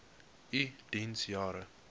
u diens jare